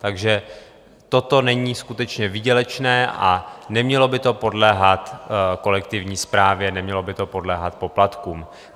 Takže toto není skutečně výdělečné a nemělo by to podléhat kolektivní správě, nemělo by to podléhat poplatkům.